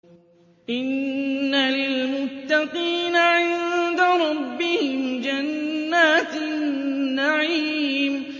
إِنَّ لِلْمُتَّقِينَ عِندَ رَبِّهِمْ جَنَّاتِ النَّعِيمِ